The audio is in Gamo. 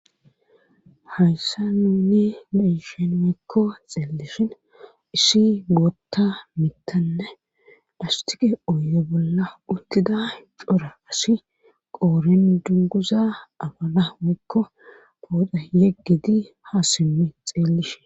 Hayssa nuni nu iishen mikko xeelishin isi gootta mittanne dastiqe oye bolla uttida cora asi qooren dunguza abana mikko booda yeggiti ha simmi xeelishe.